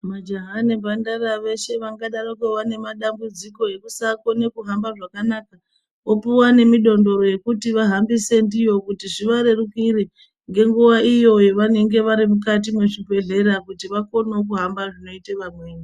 Majaha nemhandara veshe vangadarokuva nemadambidziko ekusagone kuhamba zvakanaka, opuwa nemidondoro kuti vahambise ndiyo kuti zvivarerukire, ngenguva iyo pavanenge varimukati mezvibhedhera kuti vagone kuhamba zvinoita vamweni.